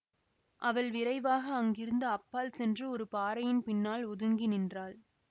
அவள் விரைவாக அங்கிருந்து அப்பால் சென்று ஒரு பாறையின் பின்னால் ஒதுங்கி நின்றாள்